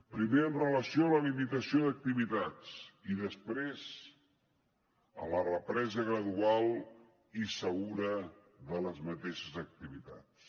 primer amb relació a la limitació d’activitats i després a la represa gradual i segura de les mateixes activitats